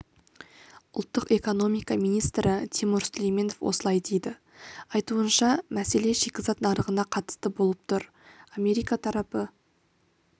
ұлттық экономика министрі тимур сүлейменов осылай дейді айтуынша мәселе шикізат нарығына қатысты болып тұр америка тарапы